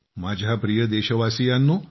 माझ्या प्रिय देशवासीयांनो